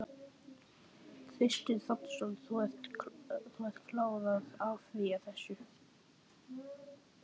Kristinn Hrafnsson: Þú ert klár á að áfrýja þessu?